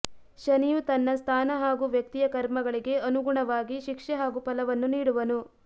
ಶನಿಯು ತನ್ನ ಸ್ಥಾನ ಹಾಗೂ ವ್ಯಕ್ತಿಯ ಕರ್ಮಗಳಿಗೆ ಅನುಗುಣವಾಗಿ ಶಿಕ್ಷೆ ಹಾಗೂ ಫಲವನ್ನು ನೀಡುವನು